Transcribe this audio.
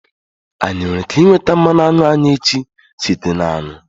Anyị nwere ike nweta mmanụ aṅụ anyị echi site na aṅụ?